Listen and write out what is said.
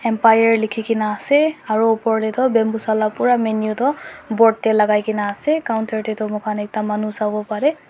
buyer lekhikena ase aro opor dae bambusaa la pura menu tuh board dae lagaikena ase counter dae tuh mokhan eta manu savo parey.